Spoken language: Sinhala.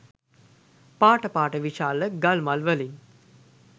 පාට පාට විශාල ගල් මල් වලින්.